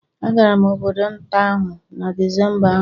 Agara m obodo nta ahụ na Disemba ahụ